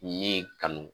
Ye kanu